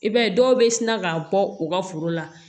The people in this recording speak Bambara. I b'a ye dɔw bɛ sina ka bɔ u ka foro la